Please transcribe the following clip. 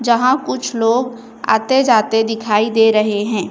जहां कुछ लोग आते जाते दिखाई दे रहे हैं।